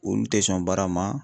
Olu tɛ sɔn baara ma.